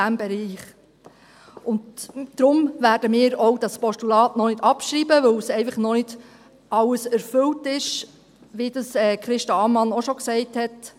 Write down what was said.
Deshalb werden wir dieses Postulat auch noch nicht abschreiben – weil einfach noch nicht alles erfüllt ist, wie Christa Ammann es auch schon gesagt hat.